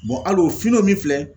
hali o fini o min filɛ